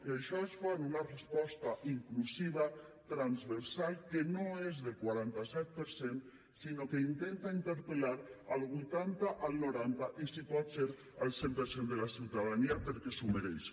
i això es fa amb una resposta inclusiva transversal que no és del quaranta set per cent sinó que intenta interpel·lar el vuitanta el noranta i si pot ser el cent per cent de la ciutadania perquè s’ho mereix